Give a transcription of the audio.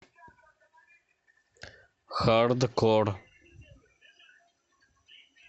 хардкор